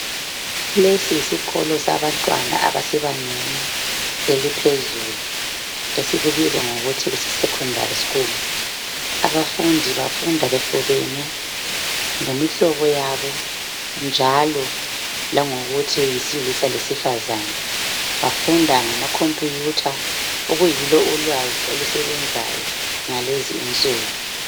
Lesi yisikolo sabantwana abasebangeni eliphezulu esikubiza ngokuthi kuse secondary school abafundi bafunda bexubene ngemihlobo yabo njalo langokuthi yisilisa lesifazana bafunda ngamakhompuyutha okuyilo ulwazi olusebenzayo ngalezinsuku.